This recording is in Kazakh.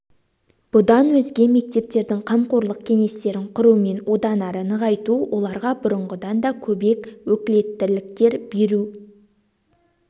бұдан өзге мектептердің қамқорлық кеңестерін құру мен одан ары нығайту оларға бұрынғыдан да көбек өкілеттіліктер беру